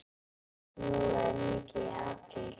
Snjóaði mikið í apríl?